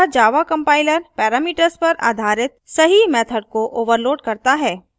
अतः java compiler parameters पर आधारित सही method को overloads करता है